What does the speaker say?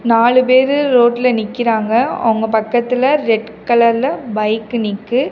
நாலு பேரு ரோட்ல நிக்கிறாங்க அவங்க பக்கத்துல ரெட் கலர்ல பைக் நிக்கு.